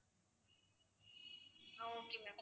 ah okay ma'am